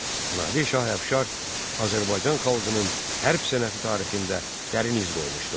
Nadir şah Əfşar Azərbaycan xalqının hərb sənəti tarixində dərin iz qoymuşdur.